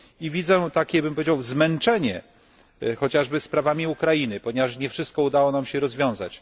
Widzę takie, powiedziałbym, zmęczenie, chociażby sprawami Ukrainy, ponieważ nie wszystko udało nam się rozwiązać.